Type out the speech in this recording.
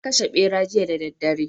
Na kashe Ɓera jiya da daddare